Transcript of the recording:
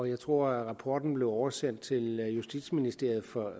jeg tror at rapporten blev oversendt til justitsministeriet for